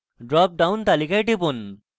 drop down তালিকায় টিপুন